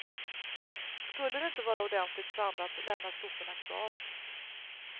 Skulle det inte vara ordentligt sandat lämnas soporna kvar.